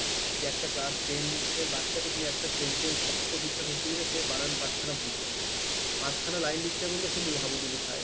যে একটা class ten এর বাচ্চাকে তুমি একটা sentence বাক্য ঠিকঠাক লিখতে দিলে সে বানান পাঁচখানা ভুল করে দেবে, পাঁচ খানা লাইন লিখতে বললে সে হাবুডুবু খায়।